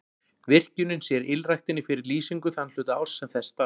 Virkjunin sér ylræktinni fyrir lýsingu þann hluta árs sem þess þarf.